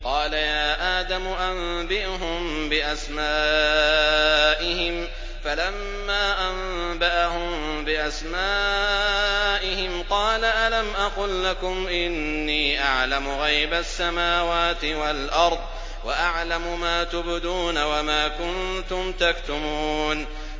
قَالَ يَا آدَمُ أَنبِئْهُم بِأَسْمَائِهِمْ ۖ فَلَمَّا أَنبَأَهُم بِأَسْمَائِهِمْ قَالَ أَلَمْ أَقُل لَّكُمْ إِنِّي أَعْلَمُ غَيْبَ السَّمَاوَاتِ وَالْأَرْضِ وَأَعْلَمُ مَا تُبْدُونَ وَمَا كُنتُمْ تَكْتُمُونَ